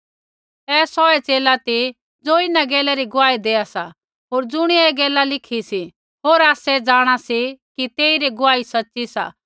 ऐ सौहै च़ेला ती ज़ो इन्हां गैला री गुआही देआ सा होर ज़ुणियै ऐ गैला लिखी सी होर आसै जाँणा सी कि तेइरी गुआही सच़ी सा